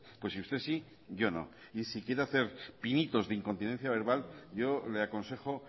pues si usted sí yo no y si quiere hacer pinitos de incontinencia verbal yo le aconsejo